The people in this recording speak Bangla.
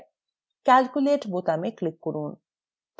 calculate button click করুন